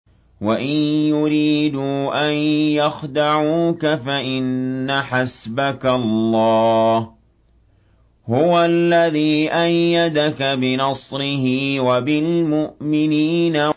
وَإِن يُرِيدُوا أَن يَخْدَعُوكَ فَإِنَّ حَسْبَكَ اللَّهُ ۚ هُوَ الَّذِي أَيَّدَكَ بِنَصْرِهِ وَبِالْمُؤْمِنِينَ